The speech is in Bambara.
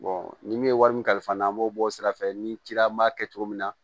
ni min ye wari min kalifa n na an b'o bɔ o sira fɛ ni cila n b'a kɛ cogo min na